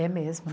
É mesmo.